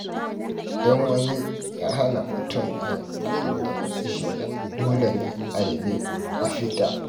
Idan wani ya hana mutum yin abin da ya shirya, dole ne a nemi mafita.